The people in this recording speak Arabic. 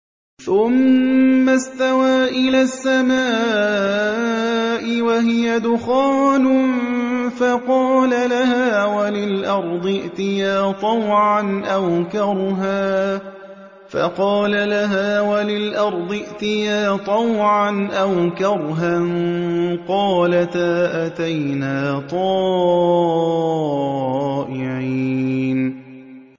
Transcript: ثُمَّ اسْتَوَىٰ إِلَى السَّمَاءِ وَهِيَ دُخَانٌ فَقَالَ لَهَا وَلِلْأَرْضِ ائْتِيَا طَوْعًا أَوْ كَرْهًا قَالَتَا أَتَيْنَا طَائِعِينَ